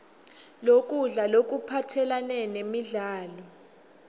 lokudla lokuphathelane nemidlo